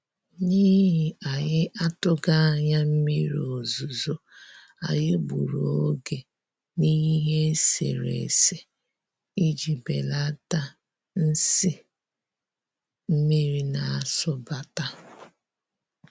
N'ihi anyị atụghị anya mmiri ozuzo, anyị gburu oge n'ihe eserese iji belata nsi mmiri na-asụbata